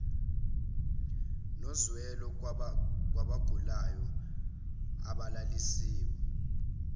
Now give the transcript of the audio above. nozwelo kwabagulayo abalalisiwe